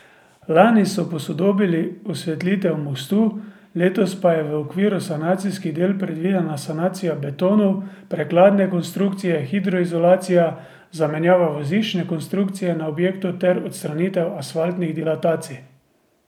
Lani so posodobili osvetlitev mostu, letos pa je v okviru sanacijskih del predvidena sanacija betonov prekladne konstrukcije, hidroizolacija, zamenjava voziščne konstrukcije na objektu ter odstranitev asfaltnih dilatacij.